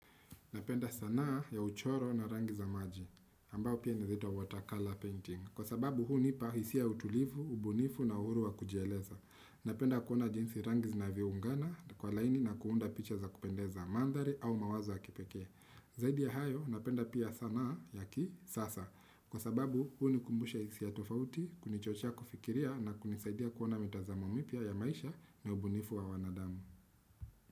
Napenda sanaa ya uchoro na rangi za maji, ambao pia naeza uita water colour painting. Kwa sababu hunipa hisia ya utulivu, ubunifu na uhuru wa kujieleza. Napenda kuona jinsi rangi zinavyoungana, kwa laini na kuunda picha za kupendeza mandhari au mawazo ya kipekee. Zaidi ya hayo, ninapenda pia sanaa ya kisasa. Kwa sababu hunikumbusha hisia tofauti, kunichochea kufikiria na kunisaidia kuona mitazamo mapya ya maisha na ubunifu wa wanadamu.